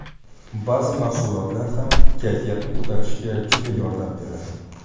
Ba’zi mahsulotlar ham kayfiyatni ko‘tarishga juda yordam beradi.